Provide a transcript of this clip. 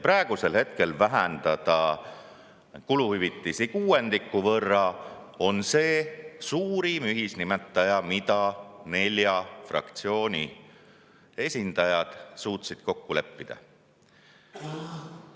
Praegusel hetkel vähendada kuluhüvitisi kuuendiku võrra on suurim ühisnimetaja, mille nelja fraktsiooni esindajad suutsid kokku leppida.